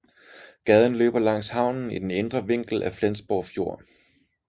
Gaden løber langs havnen i den indre vinkel af Flensborg Fjord